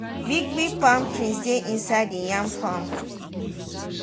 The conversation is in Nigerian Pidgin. big big palm trees dey inside the yam farm